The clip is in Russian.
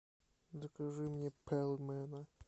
закажи мне пельмени